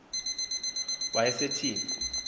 wasetyhini